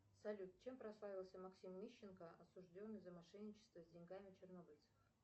салют чем прославился максим мищенко осужденный за мошенничество с деньгами чернобыльцев